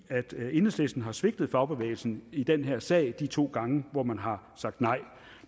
enhedslisten har svigtet fagbevægelsen i den her sag de to gange hvor man har sagt nej